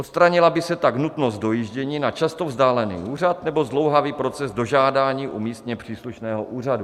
Odstranila by se tak nutnost dojíždění na často vzdálený úřad nebo zdlouhavý proces dožádání u místně příslušného úřadu.